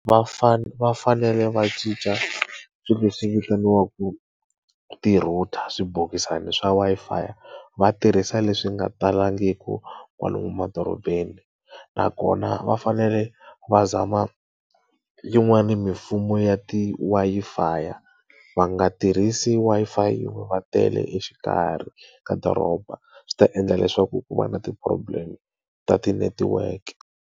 Va va fanele va cinca swilo leswi vitaniwaka ti-router swibokisana swa Wi-Fi, va tirhisa leswi nga talangiki kwala emadorobeni. Nakona va fanele va zama yin'wani mimfumo ya ti-Wi-Fi. Va nga tirhisi Wi-Fi yin'we va tele exikarhi ka doroba, swi ta endla leswaku ku va na ti problem ta ti-network.